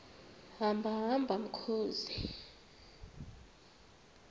hamba hamba mkhozi